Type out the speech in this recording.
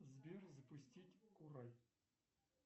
сбер запустить курай